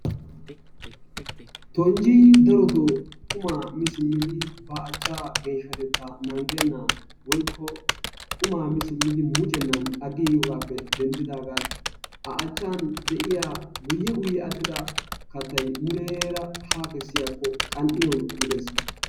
Tonjji darotoo qummaa mi simmidi ba achchaa geeshatettaa naagennan woykko qumaa mi simmidi meccennan agiigiyogaappe denddidaagan a achan de'iyua guye guye atidda kattay muleera haa kesiyakko qan'iyawu gidees.